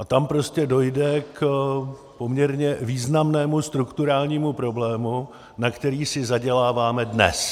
A tam prostě dojde k poměrně významnému strukturálnímu problému, na který si zaděláváme dnes.